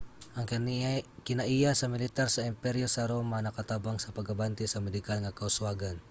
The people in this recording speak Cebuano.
ang kinaiya sa militar sa emperyo sa roma nakatabang sa pag-abante sa medikal nga kauswagan